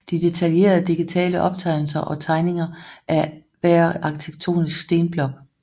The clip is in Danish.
De detaljerede digitale optegnelser og tegninger af hver arkitektonisk stenblok